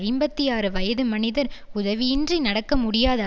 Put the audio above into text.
ஐம்பத்தி ஆறு வயது மனிதர் உதவியின்றி நடக்க முடியாத